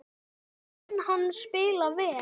Mun hann spila vel?